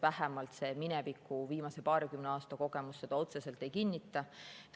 Vähemalt viimase paarikümne aasta kogemus seda otseselt ei kinnita.